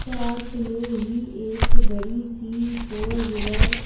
पास में ही एक बड़ी सी फोर व्हीलर --